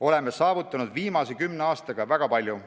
Oleme saavutanud viimase kümne aastaga väga palju.